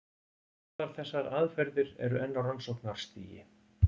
Báðar þessar aðferðir eru enn á rannsóknarstigi.